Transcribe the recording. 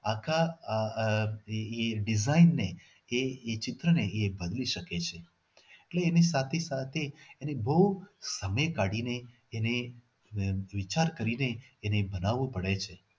આખા આહ આહ એ એ એ design ને એ ચિત્રને મેળવી શકે છે. એટલે એની સાથે સાથે એને બહુ સમય કાઢીને એને એને વિચાર કરીને એને બનાવો પડે છે.